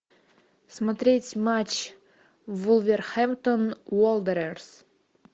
смотреть матч вулверхэмптон уондерерс